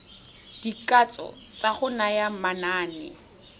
dikatso tsa go naya manane